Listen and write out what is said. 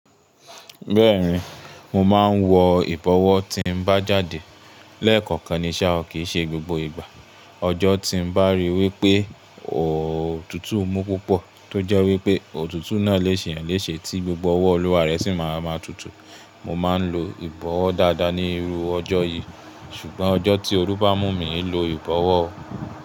Bẹ́ẹ̀ni, mo máa ń wọ ìbọ̀wọ́ tí ń bá jáde. Lẹ́ẹ̀kọ̀kan ni ṣa o, kìí ṣe gbogbo ìgbà. Ọjọ́ tí ń bá rí wípé òtútù mú púpọ̀, tó jẹ́ wípé òtútù náà lè ṣe èèyàn léṣe tí gbogbo ọwọ́ Olúwa rẹ sì máa ma tutù, mo máa ń lo ìbọ̀wọ́ dáadáa ní irú ọjọ́ yìí. Ṣùgbọ́n ọjọ́ tí òrúbà mú mi e lo ìbọ̀wọ́.